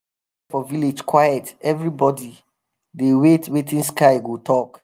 for village quiet everybody dey wait wetin sky go talk.